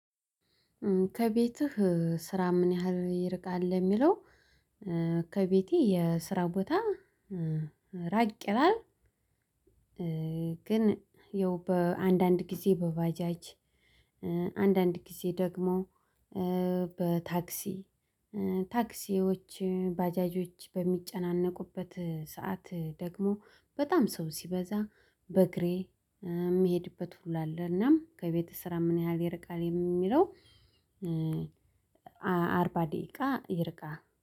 ከቤትህ ስራ ምን ያህል ይርቃል ለሚለው ከቤቴ የስራ ቦታ ራቅ ይላል። ግን ይኸው በአንዳንድ ጊዜ በባጃጅ አንዳንድ ጊዜ ደግሞ በታክሲ ታክሲዎች ባጃጆች በሚጨናነቁበት ሰዓት ደግሞ በጣም ሰው ሲበዛ በእግሬ የምሄድበት ሁሉ አለ እና ከቤተ ስራ ምን ያህል ይርቃል የሚለው አርባ ደቂቃ ይርቃ